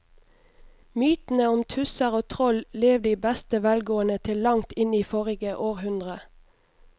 Mytene om tusser og troll levde i beste velgående til langt inn i forrige århundre.